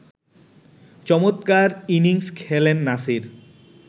চমৎকার ইনিংস খেলেন নাসির